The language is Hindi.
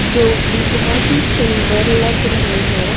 जो की बहोत ही सुंदर लग रहे हैं।